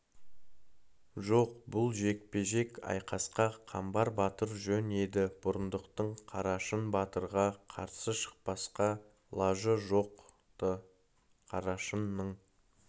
жоқ бұл жекпе-жек айқасқа қамбар батыр жөн еді бұрындықтың қарашың батырға қарсы шықпасқа лажы жоқ-ты қарашыңның